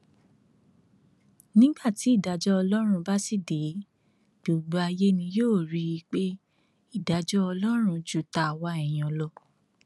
nígbà tí ìdájọ ọlọrun bá sì dé gbogbo ayé ni yóò rí i pé ìdájọ ọlọrun ju tàwa èèyàn lọ